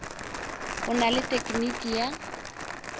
o na le tekniki ya